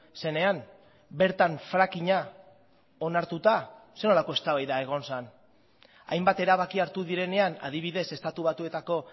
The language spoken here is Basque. zenean bertan frackinga onartuta zer nolako eztabaida egon zen hainbat erabaki hartu direnean adibidez estatu batuetako